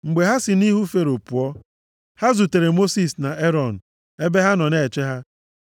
Mgbe ha si nʼihu Fero pụọ, ha zutere Mosis na Erọn ebe ha nọ na-eche ha.